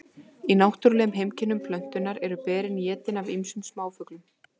í náttúrulegum heimkynnum plöntunnar eru berin étin af ýmsum smáfuglum